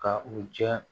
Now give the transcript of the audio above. Ka u jɛ